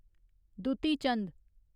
Dutee Chand